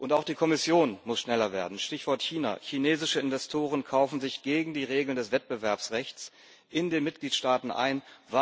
Auch die Kommission muss schneller werden. Stichwort China Chinesische Investoren kaufen sich gegen die Regeln des Wettbewerbsrechts in den Mitgliedstaaten ein.